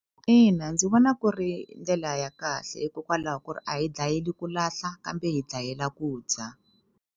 Ina, ndzi vona ku ri ndlela ya kahle hikokwalaho ku ri a hi dlayeli ku lahla kambe hi dlayela ku dya.